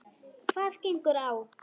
Hvað gengur á!